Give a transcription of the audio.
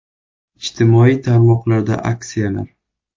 IJTIMOIY TARMOQLARDA AKSIYALAR!